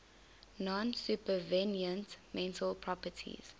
non supervenient mental properties